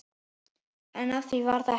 En af því varð ekki.